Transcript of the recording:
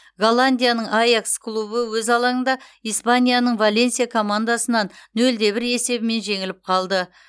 голландияның аякс клубы өз алаңында испанияның валенсия командасынан нөл де бір есебімен жеңіліп қалды